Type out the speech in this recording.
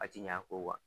A ti ɲɛ a kɔ kuwa